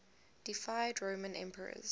deified roman emperors